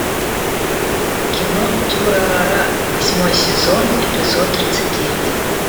кино дюрарара восьмой сезон эпизод тридцать девять